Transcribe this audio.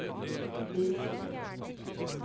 visst